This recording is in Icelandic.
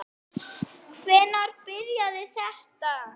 Hvenær byrjaði þetta?